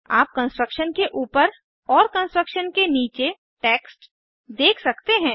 आप कंस्ट्रक्शन के ऊपर और कंस्ट्रक्शन के नीचे टेक्स्ट देख सकते हैं